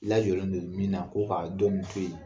Lajɔlen don don min na ko ka dɔn in to yen.